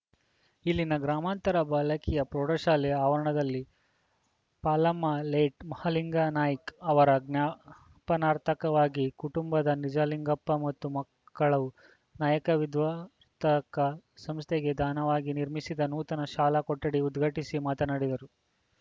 ಇಲ್ಲಿನ ಗ್ರಾಮಾಂತರ ಬಾಲಕಿಯ ಪ್ರೌಢಶಾಲಾ ಆವರಣದಲ್ಲಿ ಪಾಲಮ್ಮ ಲೇಟ್‌ ಮಹಾಲಿಂಗನಾಯ್ಕ ಅವರ ಜ್ಞಾಪ ನಾರ್ಥಕವಾಗಿ ಕುಟುಂಬದ ನಿಜಲಿಂಗಪ್ಪ ಮತ್ತು ಮಕ್ಕಳು ನಾಯಕ ವಿದ್ವಂತಕ ಸಂಸ್ಥೆಗೆ ದಾನವಾಗಿ ನಿರ್ಮಿಸಿದ ನೂತನ ಶಾಲಾ ಕೊಠಡಿ ಉದ್ಘಾಟಿಸಿ ಮಾತನಾಡಿದರು